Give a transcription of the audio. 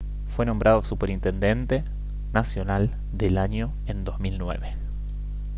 fue nombrado superintendente nacional del año en 2009